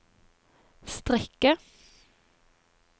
strikke